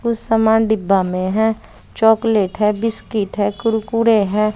कुछ समान डिब्बा में है चॉकलेट है बिस्किट है कुरकुरे है।